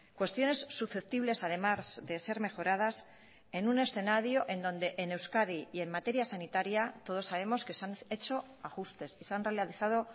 cuestiones susceptibles además de ser mejoradas en un escenario en donde en euskadi y en materia sanitaria todos sabemos que se han hecho ajustes y se han realizado